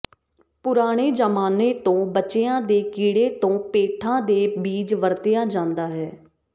ਪੁਰਾਣੇ ਜ਼ਮਾਨੇ ਤੋਂ ਬੱਚਿਆਂ ਦੇ ਕੀੜੇ ਤੋਂ ਪੇਠਾ ਦੇ ਬੀਜ ਵਰਤਿਆ ਜਾਂਦਾ ਹੈ